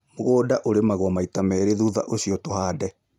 Mũgũnda urĩmagwo maita merĩ thutha ũcio tũhande